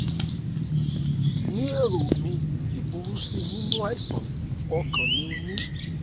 ní èrò mi ìburú sí nínú àìsàn ọkàn ni o ní